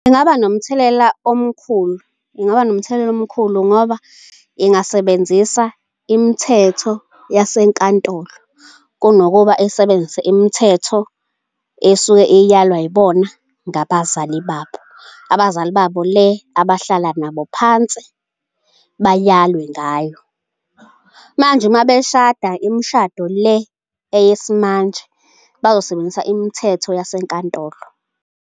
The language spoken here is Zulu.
Ingaba nomthelela omkhulu, ingaba nomthelela omkhulu ngoba ingasebenzisa imithetho yasenkantolo kunokuba isebenzise imithetho esuke iyalwa yibona ngabazali babo. Abazali babo le abahlala nabo phansi bayalwe ngayo. Manje uma beshada imishado le eyesimanje bazosebenzisa imithetho yasenkantolo.